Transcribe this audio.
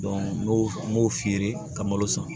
n y'o n b'o feere ka malo san